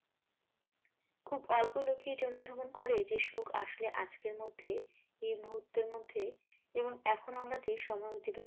খুব অল্প লোকই ইটা অনুধাবন করে যে সুখ আসলে আজকের মধ্যে এ মুহূর্তের মধ্যে এবং এখন আমরা যে সময় অতিবাহিত